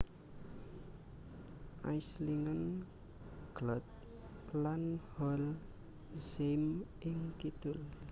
Aislingen Glott lan Holzheim ing kidul